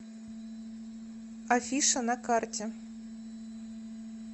афиша на карте